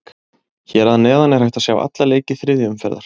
Hér að neðan er hægt að sjá alla leiki þriðju umferðar.